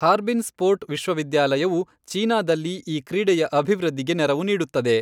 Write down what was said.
Harbin sport ವಿಶ್ವವಿದ್ಯಾಲಯವು ಚೀನಾದಲ್ಲಿ ಈ ಕ್ರೀಡೆಯ ಅಭಿವೃದ್ಧಿಗೆ ನೆರವು ನೀಡುತ್ತದೆ.